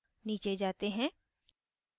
नीचे जाते हैं